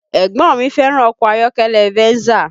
Ẹ̀gbọ́n mi fẹ́ràn ọkọ ayọ́kẹ́lẹ́ Venza